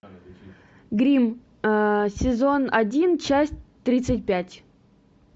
гримм сезон один часть тридцать пять